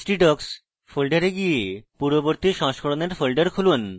htdocs folder go পূর্ববর্তী সংস্করণের folder খুলুন